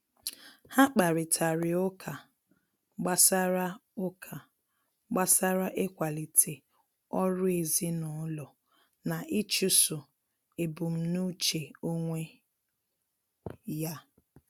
Ha kparịtari ụka gbasara ụka gbasara ịkwalite ọrụ ezinụlọ na ịchụso ebumnuche onwe ya.